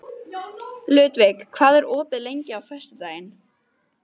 Ludvig, hvað er opið lengi á föstudaginn?